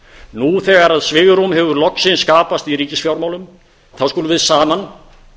nú þegar svigrúm hefur loksins skapast í ríkisfjármálum þá skulum við saman